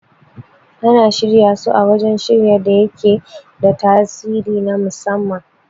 Ana shirya su a wajan shirya da yake da tasiri na musamman